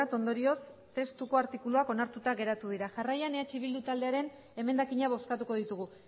ondorioz testuko artikuluak onartuta geratu dira jarraian eh bildu taldearen emendakina bozkatuko ditugu